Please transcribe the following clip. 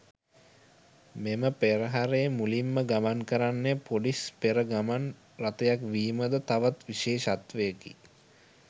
මෙම පෙරහරේ මුලින්ම ගමන් කරන්නේ පොලිස් පෙර ගමන් රථයක් වීමද තවත් විශේෂත්වයකි.